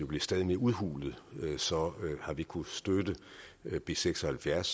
bliver stadig mere udhulet så har vi kunnet støtte b seks og halvfjerds